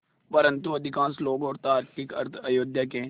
परन्तु अधिकांश लोग और तार्किक अर्थ अयोध्या के